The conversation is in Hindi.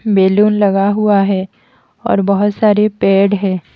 बैलून लगा हुआ है और बहोत सारे पेड़ है।